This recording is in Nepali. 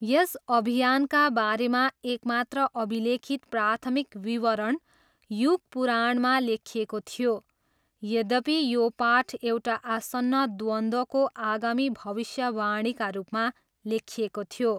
यस अभियानका बारेमा एकमात्र अभिलेखित प्राथमिक विवरण युग पुराणमा लेखिएको थियो। यद्यपि, यो पाठ एउटा आसन्न द्वन्द्वको आगामी भविष्यवाणीका रूपमा लेखिएको थियो।